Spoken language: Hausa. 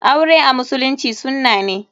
Aure a musulunci sunna ne.